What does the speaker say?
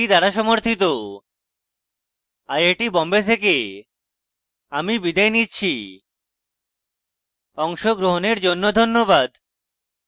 I I T Bombay থেকে আমি বিদায় নিচ্ছি অংশগ্রহণের জন্য ধন্যবাদ